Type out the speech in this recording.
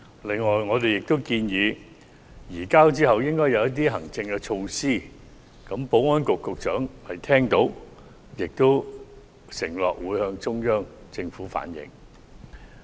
此外，我們亦建議在移交後採取一些行政措施，保安局局長已聽取意見，並承諾會向中央政府反映。